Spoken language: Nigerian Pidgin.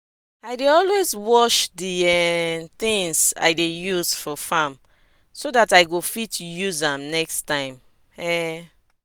i dey always wash di um tins i dey use work for farm so dat i go fit use am next time um